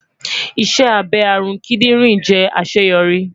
Iṣẹ abẹ arun kidinrin jẹ aṣeyọri